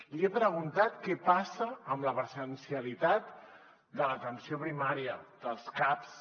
li he preguntat què passa amb la presencialitat de l’atenció primària dels caps